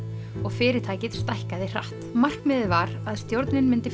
og fyrirtækið stækkaði hratt markmiðið var að stjórnin myndi